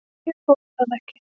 Ég þoli hann ekki.